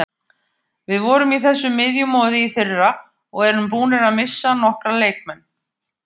Við vorum í þessu miðjumoði í fyrra og erum búnir að missa nokkra leikmenn.